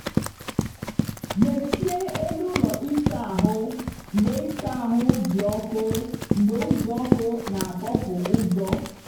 mechie elu ụlọ ịsa ahụ mgbe ịsa ahụ dị ọkụ mgbe uzuoku na-atọpụ ujo.